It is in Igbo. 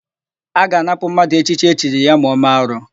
A ga-anapụ mmadụ echichi echiri ya ma ọ mee arụ.